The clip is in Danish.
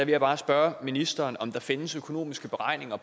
jeg bare spørge ministeren om der findes økonomiske beregninger